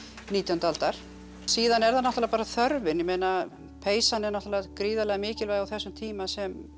nítjándu aldar síðan er það náttúrulega bara þörfin ég meina peysan er náttúrulega gríðarlega mikilvæg á þessum tíma sem